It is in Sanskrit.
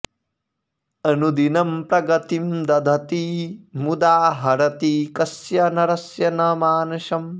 अनुदिनं प्रगतिं दधती मुदा हरति कस्य नरस्य न मानसम्